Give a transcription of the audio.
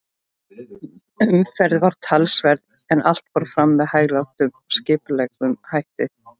Umferð var talsverð, en allt fór fram með hæglátum og skipulegum hætti.